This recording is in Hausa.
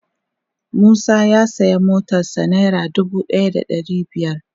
Musa ya siya motar sa naira dubu daya da dari biyar.